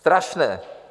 Strašné.